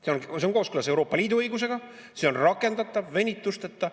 See oleks kooskõlas Euroopa Liidu õigusega, see oleks rakendatav venituseta.